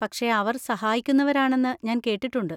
പക്ഷെ അവർ സഹായിക്കുന്നവരാണെന്ന് ഞാൻ കേട്ടിട്ടുണ്ട്.